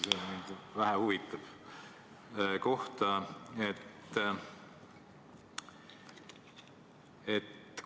See huvitab vähe.